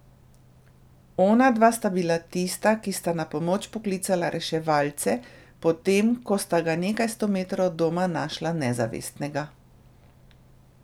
Onadva sta bila tista, ki sta na pomoč poklicala reševalce, potem ko sta ga nekaj sto metrov od doma našla nezavestnega.